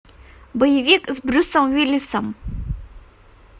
боевик с брюсом уиллисом